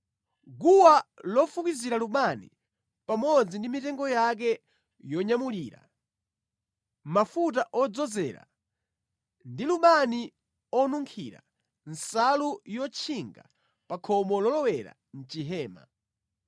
guwa lofukizira lubani pamodzi ndi mitengo yake yonyamulira, mafuta odzozera ndi lubani onunkhira; nsalu yotchinga pa khomo lolowera mʼchihema;